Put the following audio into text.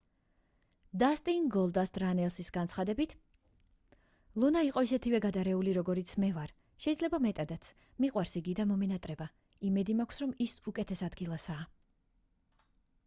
დასტინ გოლდასტ რანელსის განცხადებით ლუნა იყო ისეთივე გადარეული როგორიც მე ვარ შეიძლება მეტადაც მიყვარს იგი და მომენატრება იმედი მაქვს რომ ის უკეთეს ადგილასაა